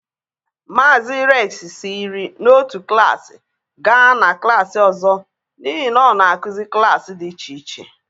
Mazị Reks siri na otu klaasị gaa na klaasị ọzọ n’ihi na ọ na-akụzi klaasị dị iche iche.